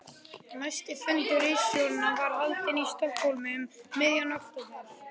Næsti fundur ritstjóranna var haldinn í Stokkhólmi um miðjan október